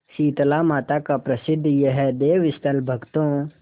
शीतलामाता का प्रसिद्ध यह देवस्थल भक्तों